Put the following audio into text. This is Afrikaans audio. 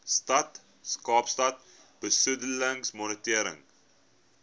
stad kaapstad besoedelingsmonitering